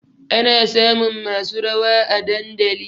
Ana samun masu rawa a dandali